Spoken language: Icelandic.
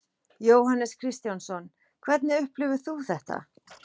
Jóhannes Kristjánsson: Hvernig upplifir þú þetta?